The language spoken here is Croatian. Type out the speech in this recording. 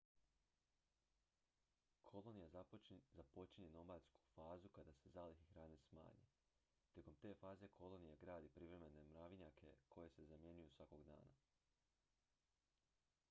kolonija započinje nomadsku fazu kada se zalihe hrane smanje tijekom te faze kolonija gradi privremene mravinjake koji se zamjenjuju svakog dana